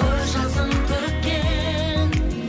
көз жасын төккен